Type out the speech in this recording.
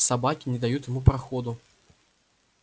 собаки не дают ему проходу